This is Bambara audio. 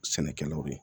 Sɛnɛkɛlaw ye